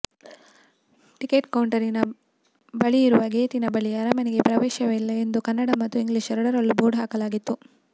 ticket ಕೌಂಟರಿನ ಬಳಿಯಿರುವ ಗೇಟಿನ ಬಳಿ ಅರಮನೆಗೆ ಪ್ರವೇಶವಿಲ್ಲ ಎಂದು ಕನ್ನಡ ಮತ್ತು ಇಂಗ್ಲೀಷ್ ಎರಡರಲ್ಲೂ ಬೋರ್ಡ್ ಹಾಕಲಾಗಿತ್ತು